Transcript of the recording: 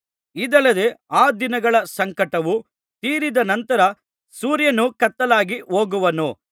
ಇದಲ್ಲದೆ ಆ ದಿನಗಳ ಸಂಕಟವು ತೀರಿದ ನಂತರ ಸೂರ್ಯನು ಕತ್ತಲಾಗಿ ಹೋಗುವನು